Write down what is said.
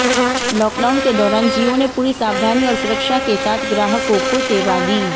lockdown के दौरान जियो ने पूरी सावधानी और सुरक्षा के साथ ग्राहकों को सेवा दी